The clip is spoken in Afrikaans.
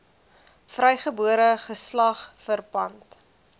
vrygebore geslag verpand